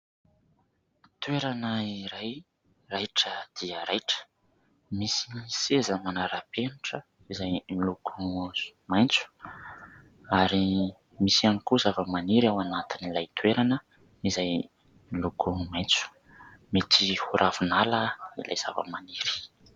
Toerana iray raitra dia raitra. Misy ny seza manara-penitra izay miloko maitso, ary misy ihany koa zava-maniry ao anatiny ilay toerana izay miloko maitso; mety ho Ravinala ilay zava-maniry.